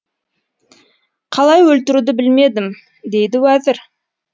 қалай өлтіруді білмедім дейді уәзір